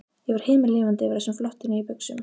Ég var himinlifandi yfir þessum flottu, nýju buxum.